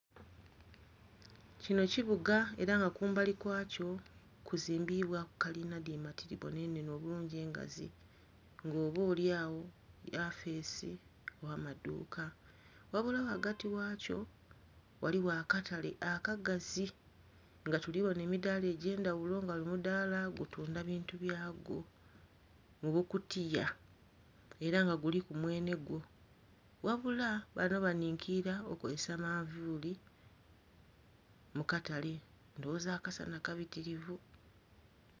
Kino kibuga era nga kumbali kwakyo kuzimbiibwaku kalina dhi matiribona enhenhe obulungi engazi, nga oba olyagho yafeesi gh'amaduuka. Ghabula ghagati ghakyo ghaligho akatale akagazi nga tuli bona emidaala egy'endhaghulo nga buli mudaala gutunda bintu byagwo mu bukutiya, era nga guliku mwene gwo. Ghabula bano banhinkiira okozesa manvuuli mu katale, ndhoghoza akasana kabitirivu.